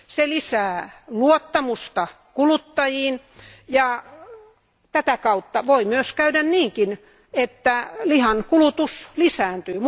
Se lisää luottamusta kuluttajiin, ja tätä kautta voi myös käydä niinkin, että lihan kulutus lisääntyy.